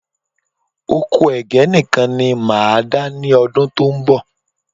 Oko Ẹ̀gẹ́ nìkan ni máa dá ní ọdún tó ń bọ̀